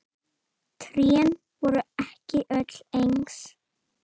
Trén verða ekki öll eins.